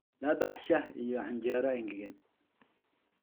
La bax shaah iyo canjeero engegan